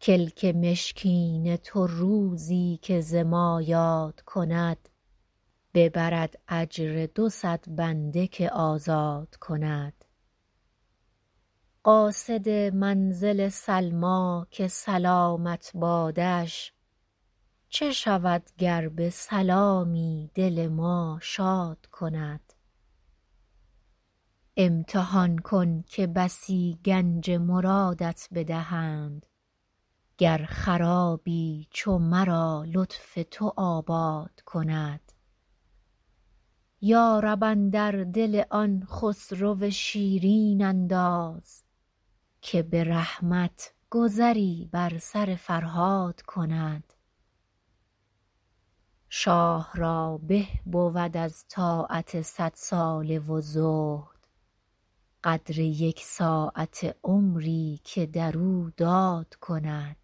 کلک مشکین تو روزی که ز ما یاد کند ببرد اجر دو صد بنده که آزاد کند قاصد منزل سلمیٰ که سلامت بادش چه شود گر به سلامی دل ما شاد کند امتحان کن که بسی گنج مرادت بدهند گر خرابی چو مرا لطف تو آباد کند یا رب اندر دل آن خسرو شیرین انداز که به رحمت گذری بر سر فرهاد کند شاه را به بود از طاعت صدساله و زهد قدر یک ساعته عمری که در او داد کند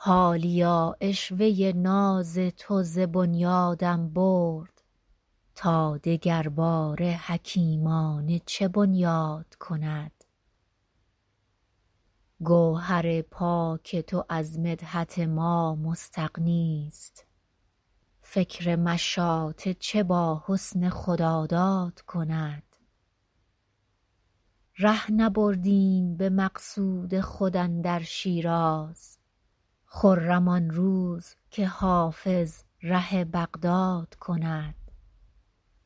حالیا عشوه ناز تو ز بنیادم برد تا دگرباره حکیمانه چه بنیاد کند گوهر پاک تو از مدحت ما مستغنیست فکر مشاطه چه با حسن خداداد کند ره نبردیم به مقصود خود اندر شیراز خرم آن روز که حافظ ره بغداد کند